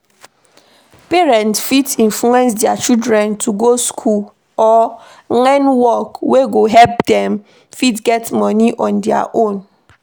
Parent fit influence their children to go school or learn work wey go make dem fit get money dey on their own